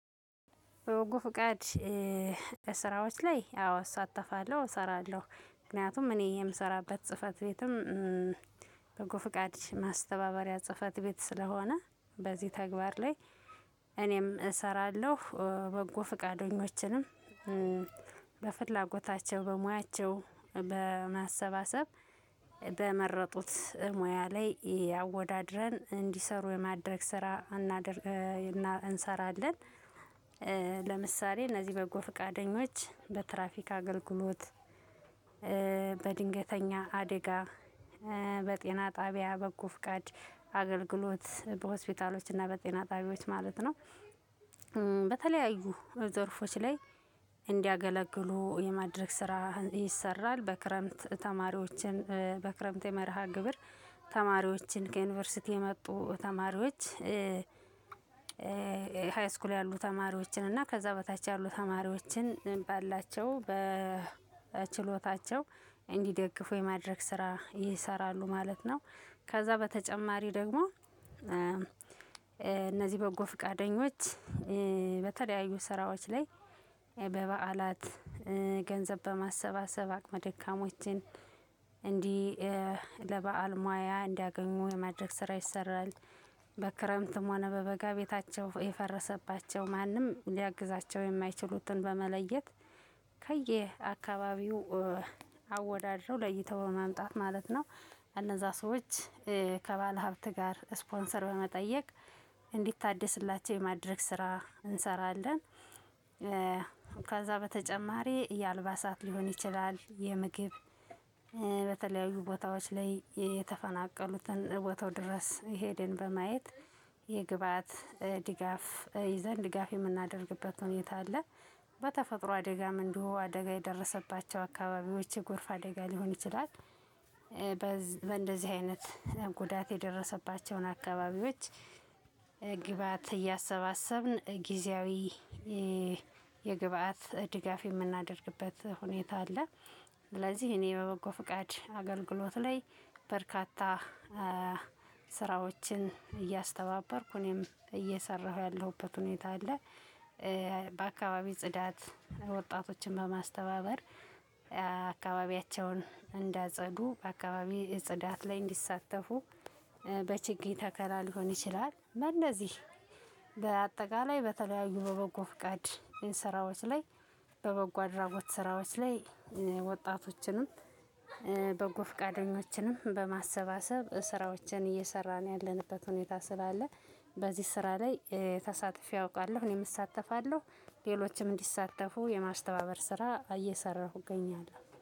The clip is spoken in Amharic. በበጎ ፍቃድ ስራዎች ላይ አዎ እሳተፋለሁ እሰራለሁ ምክንያቱም እኔ የምሰራበት ጽህፈት ቤትም። በጎ ፍቃድ ማስተባበሪያ ጽህፈት ቤት ስለሆነ በዚህ ተግባር ላይ። እኔም እሰራለሁ በጎ ፍቃደኞችንም በፍላጎታቸው በሙያቸው በማሰባሰብ በመረጡት ሙያ ላይ አወዳድረን እንዲሰሩ የማድረግ ስራ እናደርጋለን እና እንሰራለን። ለምሳሌ እነዚህ በጎ ፈቃደኞች በትራፊክ አገልግሎት በድንገተኛ አደጋ በጤና ጣቢያ በጎ ፍቃድ አገልግሎት በሆስፒታሎች እና በጤና ጣቢያዎች ማለት ነው። በተለያዩ ዘርፎች ላይ እንዲያገለግሉ የማድረግ ስራ ይሰራል። በክረምት ተማሪዎችን በክረምት የመርሃ ግብር ተማሪዎችን ከዩኒቨርሲቲ የመጡ ተማሪዎች ሃይስኩል ያሉ ተማሪዎችን እና ከዛ በታች ያሉ ተማሪዎችን ባላቸው በችሎታቸው እንዲደግፉ የማድረግ ስራ ይሰራሉ ማለት ነው። ከዛ በተጨማሪ ደግሞ እነዚህ በጎ ፍቃደኞች በተለያዩ ስራዎች ላይ በበዓላት ገንዘብ በማሰባሰብ አቅመ ደካሞችን እንዲህ ለበአል መዋያ እንዲያገኙ የማድረግ ስራ ይሰራል። በክረምትም ሆነ በበጋ ቤታቸው የፈረሰባቸው ማንም ሊያግዛቸው የማይችሉትን በመለየት ከየአካባቢው አወዳድረው ለይተው ለማምጣት ማለት ነው። እነዛ ሰዎች ከባለሀብት ጋር ስፖንሰር በመጠየቅ እንዲታደስላቸው የማድረግ ስራ እንሰራለን። ከዛ በተጨማሪ የአልባሳት ሊሆን ይችላል የምግብ በተለያዩ ቦታዎች ላይ የተፈናቀሉትን ቦታው ድረስ ሄደን በማየት የግብአት ድጋፍ ይዘን ድጋፍ የምናደርግበት ሁኔታ አለ። በተፈጥሮ አደጋም እንዲሁ አደጋ የደረሰባቸው አካባቢዎች የጎርፍ አደጋ ሊሆን ይችላል። በእንደዚህ አይነት ጉዳት የደረሰባቸውን አካባቢዎች ግብአት እያሰባሰብን ጊዜያዊ የግብአት ድጋፍ የምናደርግበት ሁኔታ አለ። ስለዚህ እኔ በበጎ ፍቃድ አገልግሎት ላይ በርካታ ስራዎችን እያስተባበርኩ እኔም እየሰራሁ ያለሁበት ሁኔታ አለ። በአካባቢ ጽዳት ወጣቶችን በማስተባበር አካባቢያቸውን እንዲያጸዱ በአካባቢ ጽዳት ላይ እንዲሳተፉ በችግኝ ተከላ ሊሆን ይችላል በእነዚህ በአጠቃላይ በተለያዩ በበጎ ፍቃድ ስራዎች ላይ በበጎ አድራጎት ስራዎች ላይ ወጣቶችንም በጎ ፍቃደኞችንም በማሰባሰብ ስራዎችን እየሰራን ያለንበት ሁኔታ ስላለ። በዚህ ስራ ላይ ተሳትፊ አውቃለሁ እኔም እሳተፋለሁ ሌሎችም እንዲሳተፉ የማስተባበር ስራ እየሰራሁኝ እገኛለሁ